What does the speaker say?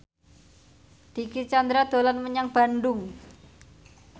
Dicky Chandra dolan menyang Bandung